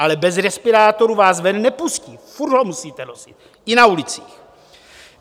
Ale bez respirátorů vás ven nepustí, furt ho musíte nosit i na ulici.